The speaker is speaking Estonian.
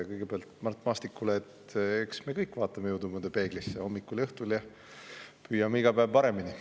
Kõigepealt Mart Maastikule, et eks me kõik vaatame jõudumööda peeglisse: hommikul ja õhtul ja püüame iga päev paremini.